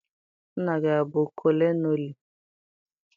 Nna gị abụ kọlọnelụ?